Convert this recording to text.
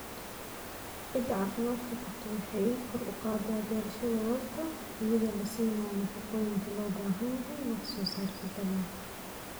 Ciidda caafimaadka qabta waxay kor u qaadaa beerashada waarta iyadoo la siinayo nafaqooyinka loo baahan yahay wax soo saarka dalagga.